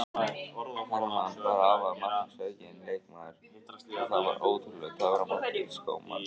Hermann var afar marksækinn leikmaður og það var ótrúlegur töframáttur í skóm hans.